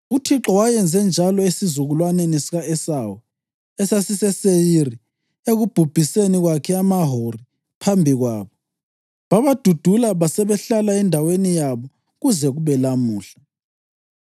UThixo wayenze njalo esizukulwaneni sika-Esawu, esasiseSeyiri, ekubhubhiseni kwakhe amaHori phambi kwabo. Babadudula basebehlala endaweni yabo kuze kube lamuhla.